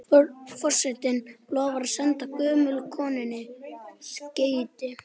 Forsetinn lofar að senda gömlu konunni skeyti.